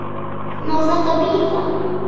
Má þetta bíða?